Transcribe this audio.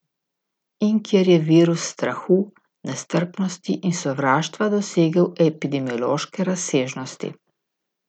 In kjer je virus strahu, nestrpnosti in sovraštva dosegel epidemiološke razsežnosti.